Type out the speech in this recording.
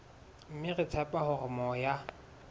mme re tshepa hore moya